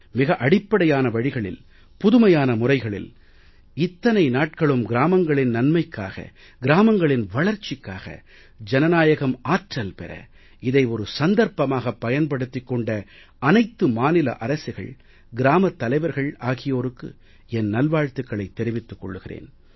மிக அடிப்படையான வழிகளில் புதுமையான முறையில் இத்தனை நாட்களும் கிராமங்களின் நன்மைக்காக கிராமங்களின் வளர்ச்சிக்காக ஜனநாயகம் ஆற்றல் பெற இதை ஒரு சந்தர்ப்பமாகப் பயன்படுத்திக் கொண்ட அனைத்து மாநில அரசுகள் கிராமத் தலைவர்கள் ஆகியோருக்கு என் நல் வாழ்த்துக்களைத் தெரிவித்துக் கொள்கிறேன்